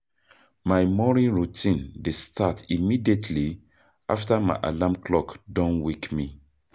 My morning routine dey start immediately after my alarm clock don wake me.